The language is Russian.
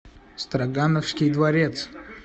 строгановский дворец